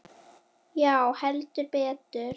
Já, heldur betur.